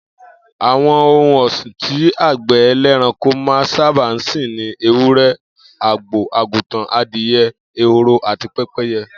Àwo̩n ohun ò̩sìn tí àgbè̩ e̩lé̩ranko máa n sábà sìn ni ewúré̩, àgbò, àgùntàn, adìye̩, ehoro àti pé̩pé̩ye̩